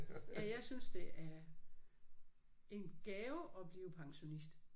Ja jeg synes det er en gave at blive pensionist